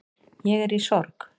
Ég er í sorg